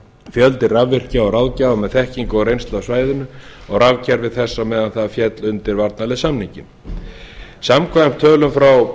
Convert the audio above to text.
fjöldi rafvirkja og ráðgjafa með þekkingu og reynslu af svæðinu og rafkerfi þess meðan það féll undir varnarliðssamninginn samkvæmt tölum frá